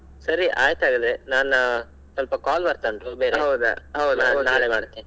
ಸರಿ ಆಯತಾಗದರೆ ನಾನ್ ಸ್ವಲ್ಪ call ಬರ್ತಾ ಉಂಟು .